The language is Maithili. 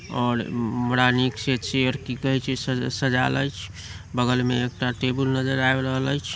और बड़ा निक से की कहे छै चेयर सजाइल ऐछ बगल में एकटा टेबुल नजर आब रहल ऐछ ।